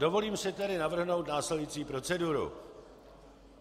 Dovolím si tedy navrhnout následující proceduru.